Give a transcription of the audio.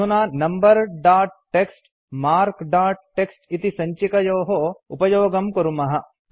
अधुना number dot TXT marks dot TXT इति सञ्चिकयोः उपयोगं कुर्मः